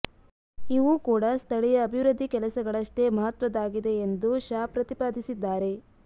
ಇವೂ ಕೂಡ ಸ್ಥಳೀಯ ಅಭಿವೃದ್ಧಿ ಕೆಲಸಗಳಷ್ಟೇ ಮಹತ್ವದ್ದಾಗಿದೆ ಎಂದು ಶಾ ಪ್ರತಿಪಾದಿಸಿದ್ದಾರೆ